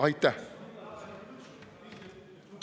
Aitäh!